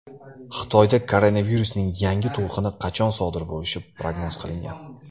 Xitoyda koronavirusning yangi to‘lqini qachon sodir bo‘lishi prognoz qilingan .